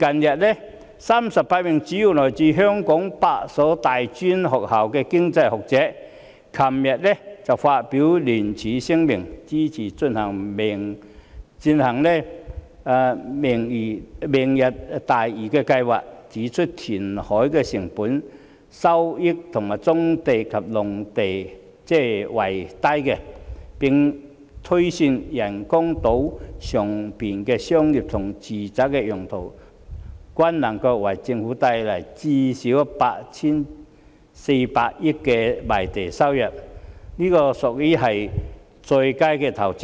昨天 ，38 名主要來自香港8所大專院校的經濟學者發表聯署聲明，支持進行"明日大嶼"計劃，指出填海的成本較收回棕地及農地為低，並推算人工島上商業及住宅用地能夠為政府帶來最少 8,400 億元的賣地收入，屬於上佳的投資。